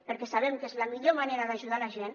perquè sabem que és la millor manera d’ajudar la gent